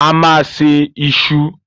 A máa se iṣu.